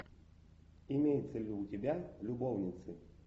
имеется ли у тебя любовницы